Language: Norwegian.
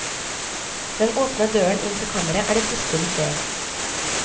Den åpne døren inn til kammeret er det siste de ser.